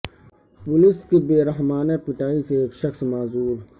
police کی بے رحمانہ پٹائی سے ایک شخص معذور